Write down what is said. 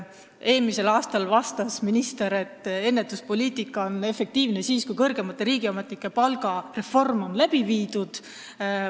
Eelmisel aastal vastas minister, et ennetuspoliitika on efektiivne siis, kui kõrgemate riigiametnike palgareform on läbi viidud.